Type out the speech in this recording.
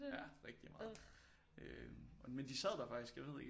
Ja rigtig meget øh men de sad der faktisk jeg ved ikke